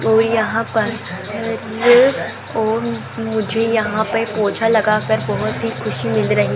और यहां पर और मुझे यहां पर पोछा लगाकर बहुत ही खुशी मिल रही --